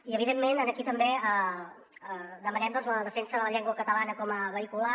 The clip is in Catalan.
i evidentment aquí també demanem doncs la defensa de la llengua catalana com a vehicular